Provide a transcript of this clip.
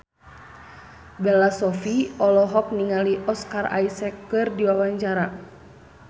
Bella Shofie olohok ningali Oscar Isaac keur diwawancara